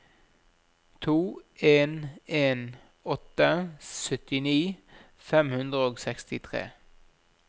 to en en åtte syttini fem hundre og sekstitre